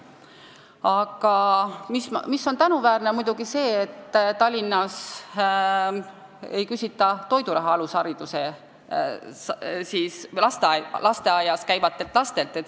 Aga muidugi on tänuväärne, et Tallinnas ei küsita lasteaias käivate laste vanematelt toiduraha.